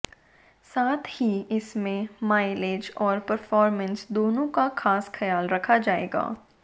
साथ ही इसमें माइलेज और परफॉरमेंस दोनों का खास ख्याल रखा जाएगा